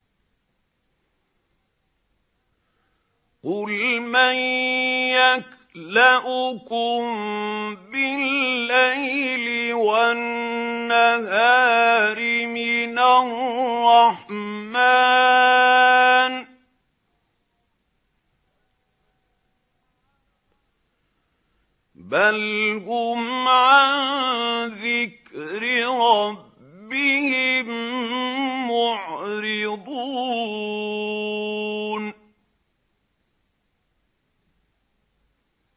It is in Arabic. قُلْ مَن يَكْلَؤُكُم بِاللَّيْلِ وَالنَّهَارِ مِنَ الرَّحْمَٰنِ ۗ بَلْ هُمْ عَن ذِكْرِ رَبِّهِم مُّعْرِضُونَ